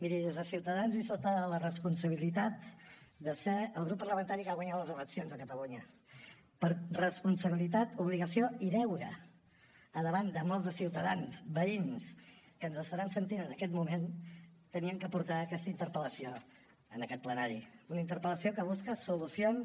miri des de ciutadans i sota la responsabilitat de ser el grup parlamentari que ha guanyat les eleccions a catalunya per responsabilitat obligació i deure davant de molts de ciutadans veïns que ens estaran sentint en aquest moment havíem de portar aquesta interpel·lació a aquest plenari una interpel·lació que busca solucions